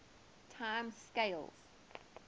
time scales